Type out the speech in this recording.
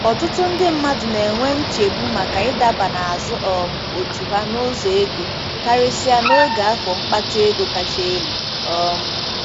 Ọtụtụ ndị mmadụ na-enwe nchegbu maka ịdaba n'azụ um otu ha n'ụzọ ego, karịsịa n'oge afọ mkpata ego kacha elu. um